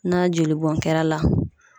Na joli bɔn kɛra la